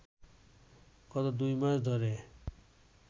গত দুই মাস ধরে